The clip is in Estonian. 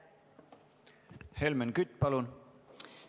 Helmen Kütt, palun!